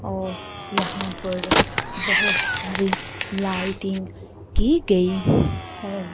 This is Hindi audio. और यहां पर बहोत सारी लाइटिंग की गई है।